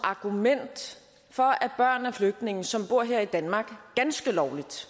argument for at børn af flygtninge som bor her i danmark ganske lovligt